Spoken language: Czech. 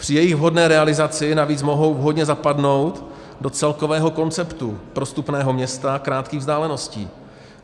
Při jejich vhodné realizaci navíc mohou vhodně zapadnout do celkového konceptu prostupného města krátkých vzdáleností.